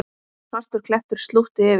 Svartur klettur slútti yfir.